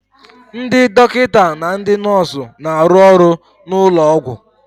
Ndị dọkịta na ndị nọọsu na-arụ ọrụ n'ụlọ ọgwụ